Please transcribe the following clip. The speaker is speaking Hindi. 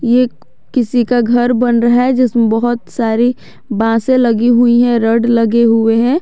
एक किसी का घर बन रहा है जिसमें बहोत सारी बांसे लगी हुई है रॉड लगे हुए हैं।